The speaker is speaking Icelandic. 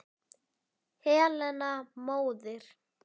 Helena móðir